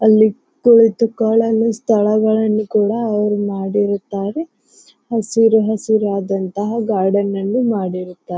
ಅಲ್ಲಿ ಕುಳಿತು ಕಾಲನ್ನ ಸ್ಥಳಗಳನ್ನು ಕೂಡ ಅವ್ರು ಮಾಡಿರುತ್ತಾರೆ. ಹಸಿರು ಹಸಿರಾದ ಆದಂತಹ ಗಾರ್ಡನ್ ಅನ್ನು ಮಾಡಿರುತ್ತಾ --